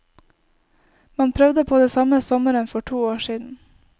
Man prøvde på det samme sommeren for to år siden.